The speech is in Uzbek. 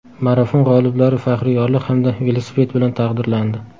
Marafon g‘oliblari faxriy yorliq hamda velosiped bilan taqdirlandi.